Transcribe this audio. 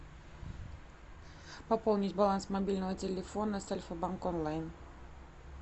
пополнить баланс мобильного телефона с альфа банк онлайн